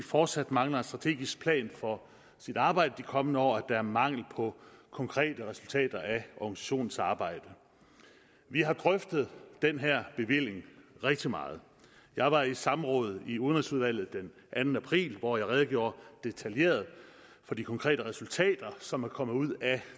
fortsat mangler en strategisk plan for sit arbejde de kommende år er mangel på konkrete resultater af organisationens arbejde vi har drøftet den her bevilling rigtig meget jeg var i samråd i udenrigsudvalget den anden april hvor jeg redegjorde detaljeret for de konkrete resultater som er kommet ud af